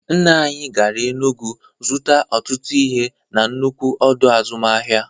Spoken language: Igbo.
Nna anyị gara Enugwu zụta ọtụtụ ihe na-nnukwu ọdọ azụmahịa.